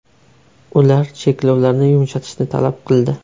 Ular cheklovlarni yumshatishni talab qildi.